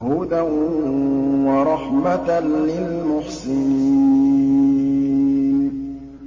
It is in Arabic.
هُدًى وَرَحْمَةً لِّلْمُحْسِنِينَ